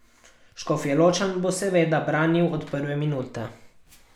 Škofjeločan bo seveda branil od prve minute.